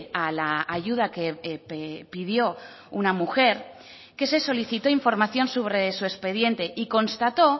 a la ayuda que pidió una mujer que se solicitó información sobre su expediente y constató